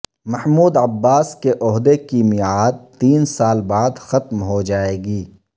Mahmood Abbas کے عہدے کی میعاد تین سال بعد ختم ہوجائے گی